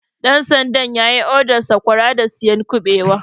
Ɗan sandan yayi odan Sakwara da siyan kuɓewa